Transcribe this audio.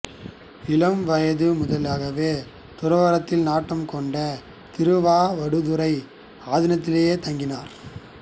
இளம்வயது முதலாகவே துறவறத்தில் நாட்டம் கொண்டு திருவாவடுதுறை ஆதீனத்திலேயே தங்கினார்